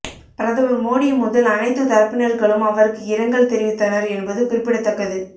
பிரதமர் மோடி முதல் அனைத்து தரப்பினர்களும் அவருக்கு இரங்கல் தெரிவித்தனர் என்பது குறிப்பிடத்தக்கது